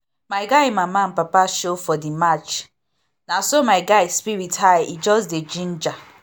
my guy mama and papa show for the match na so my guy spirit high e just dey ginger